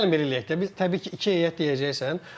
Yox, gəlin belə eləyək deyək ki, təbii ki, iki heyət deyəcəksən.